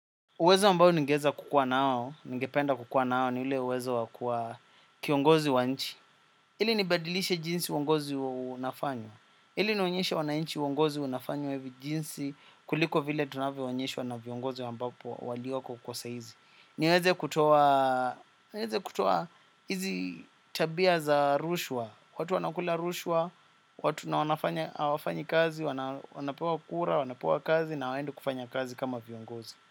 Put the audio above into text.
Uwezo ambao ningeweza kukua nao, ningependa kukua nao ni ule uwezo wa kuwa kiongozi wa nchi. Ili nibadilishe jinsi uongozi unafanywa. Ili nionyeshe wananchi uongozi unafanywa hivi jinsi kuliko vile tunavyoonyeshwa na viongozi ambapo walioko kwa saa hizi. Niweze kutoa hizi tabia za rushwa. Watu wanakula rushwa, watu na hawafanyi kazi, wanapewa kura, wanapewa kazi na hawaendi kufanya kazi kama viongozi.